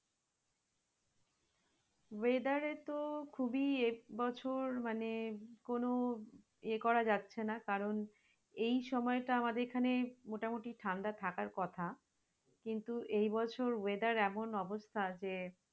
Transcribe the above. weather এ তো খুবই এবছর মানে কোন ইয়ে করা যাচ্ছে না কারন এই সময় টা আমাদের এখানে মোটামুটি ঠাণ্ডা থাকার কথা কিন্তু এই বছর weather এমন অবস্থা যে